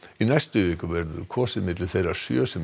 í næstu viku verður kosið á milli þeirra sjö sem